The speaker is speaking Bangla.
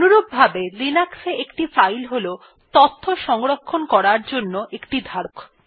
অনুরূপভাবে লিনাক্স এ একটি ফাইল হল তথ্য সংরক্ষণ করার জন্য একটি ধারক